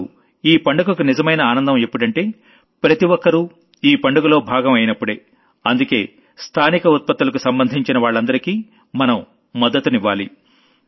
అసలు ఈ పండుగకు నిజమైన ఆనందం ఎప్పుడంటే ప్రతి ఒక్కరూ ఈ పండుగలో భాగం అయినప్పుడే అందుకే స్థానిక ప్రాడక్టులకు సంబంధించిన వాళ్లందరికీ మనం మద్దతివ్వాలి